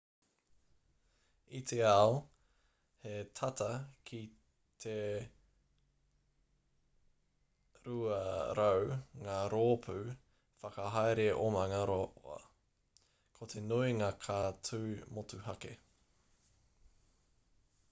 i te ao, he tata ki t 200 ngā rōpū whakahaere omanga roa. ko te nuinga ka tū motuhake